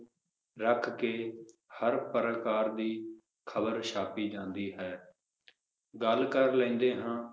ਰੱਖ ਕ ਹਰ ਪ੍ਰਕਾਰ ਦੀ ਖਬਰ ਛਾਪੀ ਜਾਂਦੀ ਹੈ ਗੱਲ ਕਰ ਲੈਂਦੇ ਹਾਂ